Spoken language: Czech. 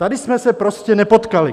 Tady jsme se prostě nepotkali.